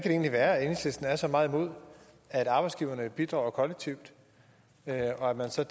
egentlig være at enhedslisten er så meget imod at arbejdsgiverne bidrager kollektivt og at man så